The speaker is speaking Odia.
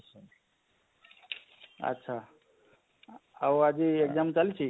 ଆଚ୍ଛା ଆଉ ଆଜି exam ଚାଲିଛେ?